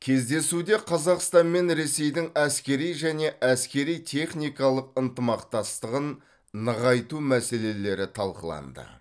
кездесуде қазақстан мен ресейдің әскери және әскери техникалық ынтымақтастығын нығайту мәселелері талқыланды